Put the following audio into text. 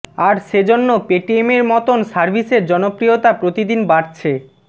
আর সে জন্য পেটিএমের মতন সার্ভিসের জনপ্রিয়তা প্রতিদিন বাড়ছে